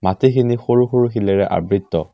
খিনি সৰু সৰু শিলেৰে আবৃত।